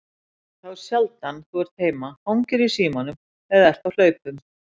Þá sjaldan þú ert heima hangirðu í símanum eða ert á hlaupum.